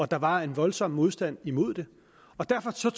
der var en voldsom modstand imod det og derfor tog